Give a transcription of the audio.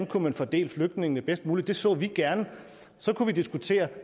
kunne fordele flygtningene bedst muligt det så vi gerne så kunne vi diskutere